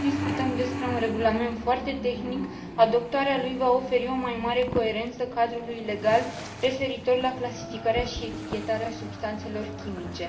Deși discutăm despre un regulament foarte tehnic, adoptarea lui va oferi o mai mare coerență cadrului legal referitor la clasificarea și etichetarea substanțelor chimice.